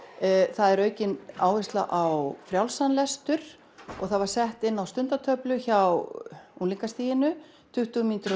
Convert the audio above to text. það er aukin áhersla á frjálsan lestur það var sett inn á stundartöflu hjá unglingastiginu tuttugu mínútur á